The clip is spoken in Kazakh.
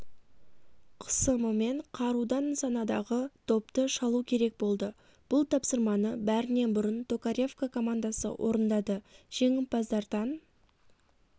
қысымымен қарудан нысанадағы допты шалу керек болды бұл тапсырманы бәрінен бұрын токаревка командасы орындады жеңімпаздардан